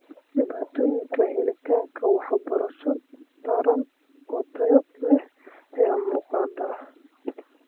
Dhibaatooyinka helitaanka waxbarasho taran oo tayo leh ayaa muuqda.